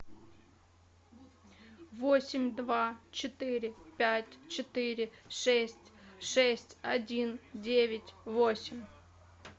восемь два четыре пять четыре шесть шесть один девять восемь